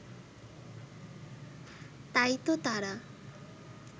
তাই তো তারা